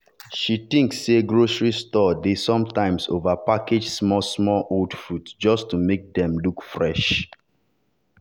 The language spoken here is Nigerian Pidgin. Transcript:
she think say grocery store dey sometimes over-package small-small old fruit just to make dem look fresh.